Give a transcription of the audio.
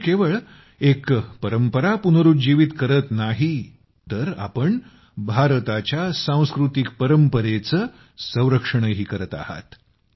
आपण केवळ एक परंपरा पुनरूज्जीवित करत नाहीत तर आपण भारताच्या सांस्कृतिक परंपरेचं संरक्षणही करत आहात